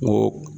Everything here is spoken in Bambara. N ko